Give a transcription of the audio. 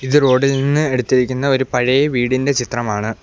ഇത് റോഡ് ഇൽ നിന്ന് എടുത്തിരിക്കുന്ന ഒരു പഴയ വീടിൻ്റെ ചിത്രമാണ്.